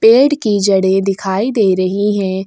पेड़ की जड़े दिखाई दे रही है।